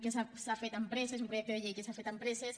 que s’ha fet amb presses un projecte de llei que s’ha fet amb presses